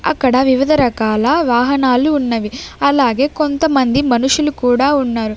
అక్కడ వివిధ రకాల వాహనాలు ఉన్నవి అలాగే కొంతమంది మనుషులు కూడా ఉన్నారు.